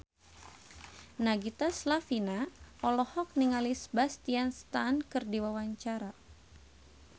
Nagita Slavina olohok ningali Sebastian Stan keur diwawancara